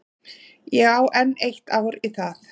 Ég á enn eitt ár í það.